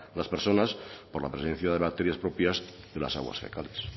las personas por la presencia de bacterias propias de las aguas fecales